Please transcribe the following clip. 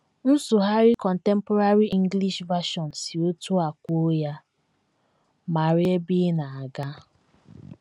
Nsụgharị Contemporary English Version si otú a kwuo ya: “ Mara ebe ị na - aga. ”